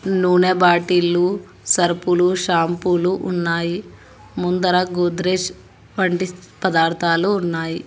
నూనె బాటిల్లు సరుపులు షాంపులు ఉన్నాయి ముందర గోద్రెజ్ వంటి పదార్థాలు ఉన్నాయి.